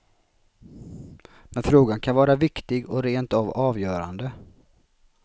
Men frågan kan vara viktig och rent av avgörande.